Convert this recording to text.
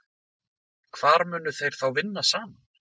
Hvar munu þeir þá vinna saman?